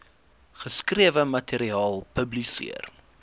geskrewe materiaal publiseer